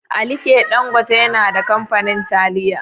Alike Dangote yana da kamfanin taliya.